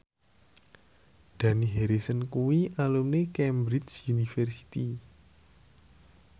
Dani Harrison kuwi alumni Cambridge University